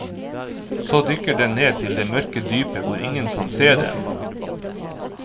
Så dykker den ned til det mørke dypet hvor ingen kan se den.